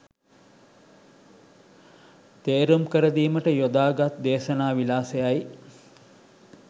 තේරුම් කරදීමට යොදාගත් දේශනා විලාසයයි.